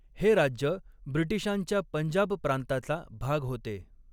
हे राज्य ब्रिटिशांच्या पंजाब प्रांताचा भाग होते.